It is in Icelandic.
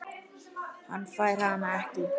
Hann fær hana ekki.